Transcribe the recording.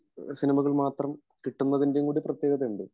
സിനിമകൾ മാത്രം കിട്ടുന്നതിന്റെ ഒരു പ്രേത്യേകതയുണ്ട്